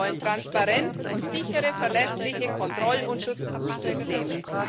Die Menschen wollen Transparenz und sichere, verlässliche Kontroll und Schutzsysteme.